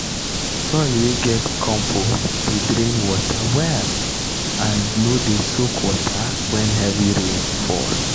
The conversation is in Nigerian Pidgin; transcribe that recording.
soil wey get compost dey drain water well and no dey soak water when heavy rain fall.